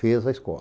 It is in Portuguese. Fez a escola.